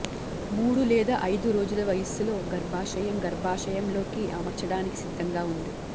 మూడు లేదా ఐదు రోజుల వయస్సులో గర్భాశయం గర్భాశయంలోకి అమర్చటానికి సిద్ధంగా ఉంది